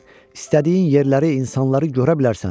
istədiyin yerləri, insanları görə bilərsən.